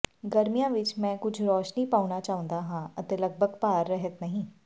ਗਰਮੀਆਂ ਵਿੱਚ ਮੈਂ ਕੁਝ ਰੋਸ਼ਨੀ ਪਾਉਣਾ ਚਾਹੁੰਦਾ ਹਾਂ ਅਤੇ ਲਗਭਗ ਭਾਰ ਰਹਿਤ ਨਹੀਂ